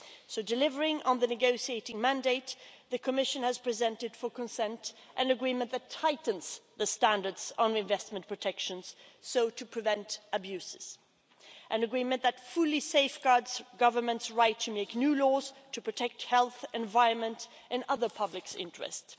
So, delivering on the negotiating mandate, the Commission has presented for consent an agreement that tightens the standards on investment protection so as to prevent abuses, an agreement that fully safeguards a government's right to make new laws to protect health, the environment and other public interests.